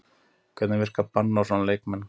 Hvernig virkar bann á svona leikmenn?